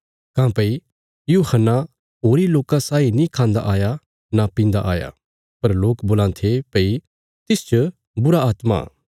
काँह्भई यूहन्ना होरी लोकां साई न खान्दा आया न पीन्दा आया पर लोक बोलां थे भई तिसच बुरीआत्मा इ